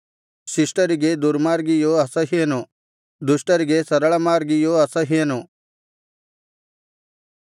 ಶಿಷ್ಟರಿಗೆ ದುರ್ಮಾರ್ಗಿಯು ಅಸಹ್ಯನು ದುಷ್ಟರಿಗೆ ಸರಳಮಾರ್ಗಿಯು ಅಸಹ್ಯನು